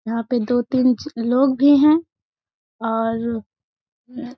यहाँ पे दो तीन च लोग भी हैं और --